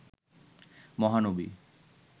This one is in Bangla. মহানবী